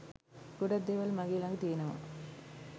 ගොඩක් දේවල් මගේ ළඟ තියෙනවා.